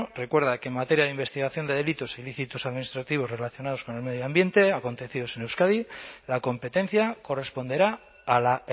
recuerda que en materia de investigación de delitos ilícitos administrativos relacionados con el medio ambiente acontecidos en euskadi la competencia corresponderá a la